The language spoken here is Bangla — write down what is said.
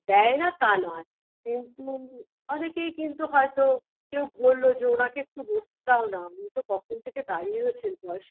দেয় না তা নয় কিন্তু অনেকেই কিন্তু হয়তো কেউ বলল যে ওনাকে একটু বসতে দাওনা উনিতো কখন থেকে দাঁড়িয়ে রয়েছেন বয়স্ক